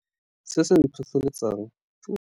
Se se ntlhotlheletsang.